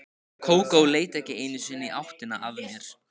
Kókó leit ekki einu sinni í áttina að mér.